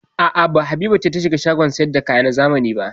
A'a, ba Habiba ce ta shiga shagon sayar da kaya na zamani ba.